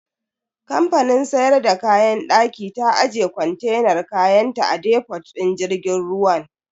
Kamfanin siyar da kayan daki ta aje kontenan kayanta a defot din jirgin ruwan.